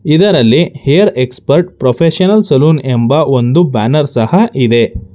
ಇದರಲ್ಲಿ air expert professional salon ಎಂಬ ಒಂದು ಬ್ಯಾನರ್ ಸಹ ಇದೆ.